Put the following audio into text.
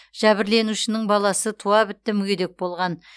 жәбірленушінің баласы туа бітті мүгедек болған